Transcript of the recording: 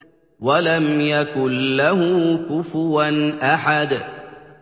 وَلَمْ يَكُن لَّهُ كُفُوًا أَحَدٌ